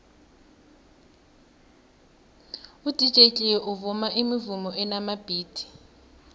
udj cleo uvuma imivumo enamabhithi